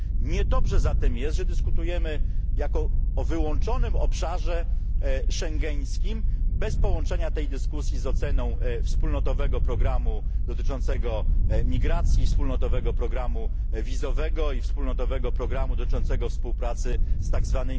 Niedobrze zatem jest, że dyskutujemy o wyłączonym obszarze schengeńskim bez połączenia tej dyskusji z oceną wspólnotowego programu dotyczącego migracji, wspólnotowego programu wizowego i wspólnotowego programu dotyczącego współpracy z tzw.